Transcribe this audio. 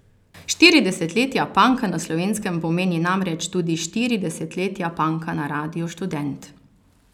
Štiri desetletja punka na Slovenskem pomeni namreč tudi štiri desetletja punka na Radiu Študent.